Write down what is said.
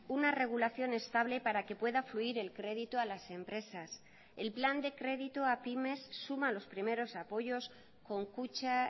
una regulación estable para que pueda fluir el crédito a las empresas el plan de crédito a pymes suma los primeros apoyos con kutxa